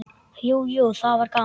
Jú, jú, það var gaman.